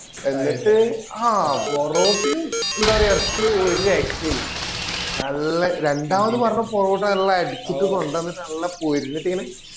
എന്നിട്ട് ആ പൊറോട്ട എന്താ പറയാ എറച്ചി ഒരു രക്ഷേ ഇല്ല നല്ല രണ്ടാമത് പറഞ്ഞ പൊറോട്ട നല്ല അടിച്ചിട്ട് കൊണ്ടുവന്നിട്ടു നല്ല പൊരിഞ്ഞിട്ടു ഇങ്ങന